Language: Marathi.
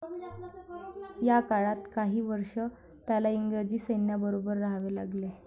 या काळात काही वर्षे त्याला इंग्रजी सैन्याबरोबर राहावे लागले.